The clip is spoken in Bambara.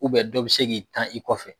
dɔ bɛ se k'i tan i kɔfɛ.